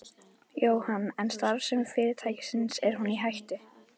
Jóhann: En starfsemi fyrirtækisins, er hún í hættu?